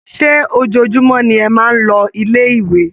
Ṣé ojoojúmọ́ ni ẹ máa ń lọ ilé-ìwé?